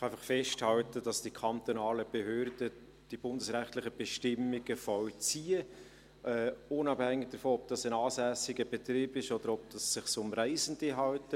Ich kann einfach festhalten, dass die kantonalen Behörden die bundesrechtlichen Bestimmungen vollziehen, unabhängig davon, ob es sich um einen ansässigen Betrieb oder um Reisende handelt.